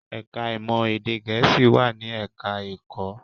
Ẹ̀ká ìmọ̀ èdè Gẹ̀ẹ́sì wà ní ẹ̀ká ẹ̀kọ́